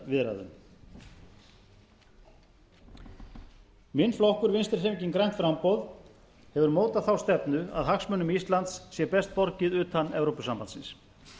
aðildarviðræðum minn flokkur vinstri hreyfingin grænt framboð hefur mótað þá stefnu að hagsmunum íslands sé best borgið utan evrópusambandsins